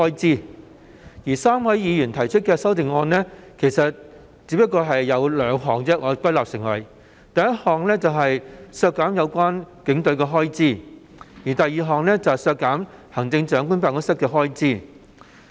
至於3位議員提出的修訂議案，按我歸納得出只涉及兩項事宜：其一是削減有關警隊的開支；其二是削減行政長官辦公室的開支。